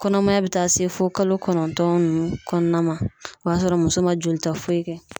Kɔnɔmaya be taa se fɔ kalo kɔnɔntɔn nunnu kɔnɔna ma o b'a sɔrɔ muso ma joli ta foyi kɛ